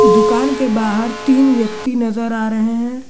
दुकान के बाहर तीन व्यक्ति नज़र आ रहे हैं।